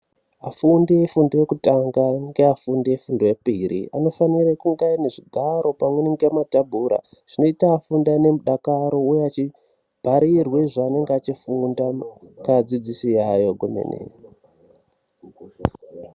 Afundi efundo yekutanga neafundi efundo yechipiri anofanire kungaaine zvigaro pamweni ngematebhura. Zvinoita afunde aine mudakaro uye achibharirwa zvaanenge achifunda ngeadzidzisi yayo kwemene.